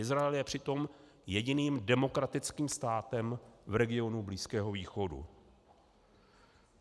Izrael je přitom jediným demokratickým státem v regionu Blízkého východu.